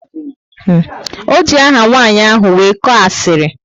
O ji aha nwanyị ahụ wee koo asiri